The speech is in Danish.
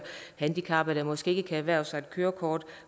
handicappede der måske ikke kan erhverve sig et kørekort